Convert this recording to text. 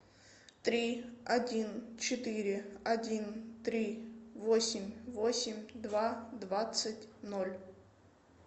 три один четыре один три восемь восемь два двадцать ноль